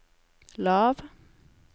lav